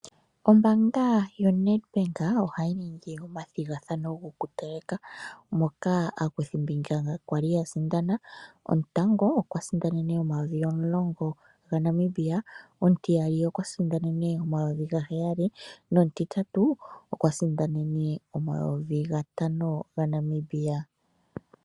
Ombaanga ya Nedbank ohayi ningi omathigathano go kuteleka moka aakuthimbinga kwali ya sindana gotango okwiisindanene omayovi omulongo ga Namibia, omutiyali okwa sindanene omayovi gaheyali nomutitatu okwa sindanene omayovi ga tano ga Namibia.